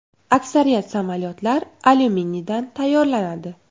Aksariyat samolyotlar alyuminiydan tayyorlanadi.